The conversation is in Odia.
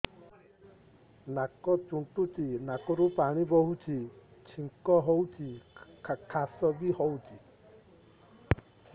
ନାକ ଚୁଣ୍ଟୁଚି ନାକରୁ ପାଣି ବହୁଛି ଛିଙ୍କ ହଉଚି ଖାସ ବି ହଉଚି